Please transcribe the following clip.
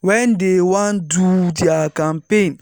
when dey wan do their campaigns.